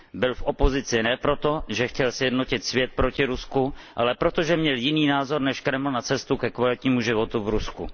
Byl v opozici ne proto, že chtěl sjednotit svět proti Rusku, ale proto, že měl jiný názor než Kreml na cestu ke kvalitnímu životu v Rusku.